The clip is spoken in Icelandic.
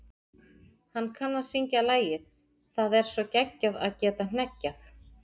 Hann kann að syngja lagið Það er svo geggjað að geta hneggjað.